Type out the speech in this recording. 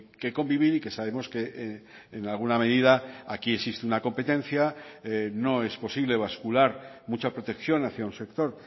que convivir y que sabemos que en alguna medida aquí existe una competencia no es posible vascular mucha protección hacia un sector